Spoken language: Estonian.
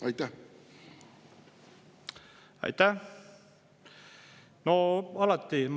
Aitäh!